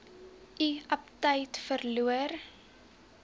u aptyt verloor